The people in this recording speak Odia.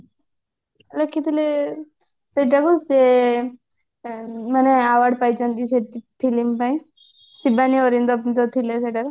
ଲେଖିଥିଲେ ସେଟା ବି ସେ ଇଁ ମାନେ award ପାଇଛନ୍ତି ସେ film ପାଇଁ ଶିବାନୀ ଅରିନ୍ଦମ ଯୋଉ ଥିଲେ ସେଇଟା ରେ